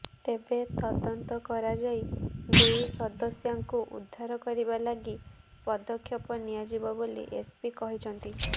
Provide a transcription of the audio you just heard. ତେବେ ତଦନ୍ତ କରାଯାଇ ଦୁଇ ସଦସ୍ୟାଙ୍କୁ ଉଦ୍ଧାର କରିବା ଲାଗି ପଦକ୍ଷେପ ନିଆଯିବ ବୋଲି ଏସ୍ପି କହିଛନ୍ତି